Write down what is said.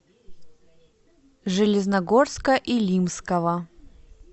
железногорска илимского